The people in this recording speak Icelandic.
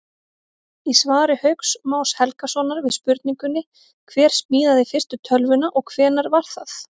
Í svari Hauks Más Helgasonar við spurningunni Hver smíðaði fyrstu tölvuna og hvenær var það?